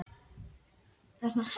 Í anddyrinu úti uppaf draumi ég hrekk.